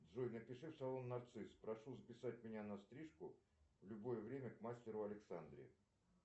джой напиши в салон нарцисс прошу записать меня на стрижку в любое время к мастеру александре